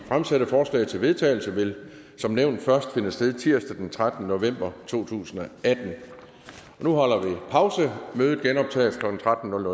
fremsatte forslag til vedtagelse vil som nævnt først finde sted tirsdag den trettende november to tusind og atten nu holder vi pause mødet genoptages klokken tretten